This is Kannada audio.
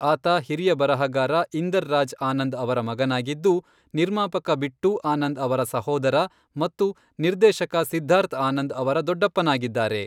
ಆತ ಹಿರಿಯ ಬರಹಗಾರ ಇಂದರ್ ರಾಜ್ ಆನಂದ್ ಅವರ ಮಗನಾಗಿದ್ದು, ನಿರ್ಮಾಪಕ ಬಿಟ್ಟೂ ಆನಂದ್ ಅವರ ಸಹೋದರ ಮತ್ತು ನಿರ್ದೇಶಕ ಸಿದ್ಧಾರ್ಥ್ ಆನಂದ್ ಅವರ ದೊಡ್ಡಪ್ಪನಾಗಿದ್ದಾರೆ.